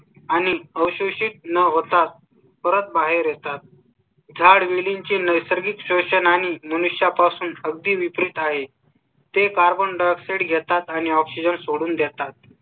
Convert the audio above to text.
आणि अशी न होता परत बाहेर येतात. झाड वेलींचे नैसर्गिक station आणि मनुष्या पासून अगदी विपरीत आहे. ते carbon dioxide घेतात आणि oxygen सोडून देतात.